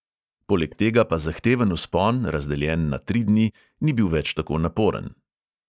Poleg tega pa zahteven vzpon, razdeljen na tri dni, ni bil več tako naporen.